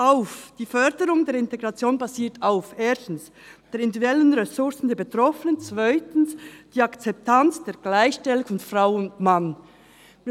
«Die Förderung der Integration basiert auf [erstens] den individuellen Ressourcen der Betroffenen, [zweitens] der Akzeptanz der Gleichstellung von Frau und Mann, […]».